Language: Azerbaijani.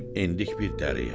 Endik bir dəriyə.